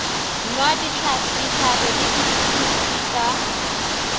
nwa dihlare le dipilisi ka